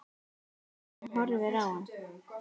Hún horfir á hann.